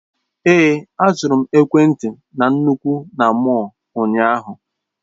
Èé, azụrụ m ekwentị na nnukwu na mọll ụnyaahụ.